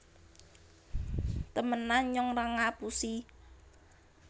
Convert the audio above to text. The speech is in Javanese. temenan nyong ra ngapusi